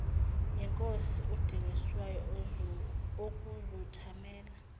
yinkosi udingiswayo ukuzothamela